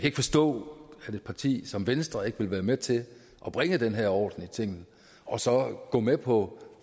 ikke forstå at et parti som venstre ikke vil være med til at bringe den her orden i tingene og så gå med på